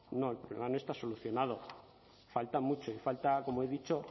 no el problema no está solucionado falta mucho y falta como he dicho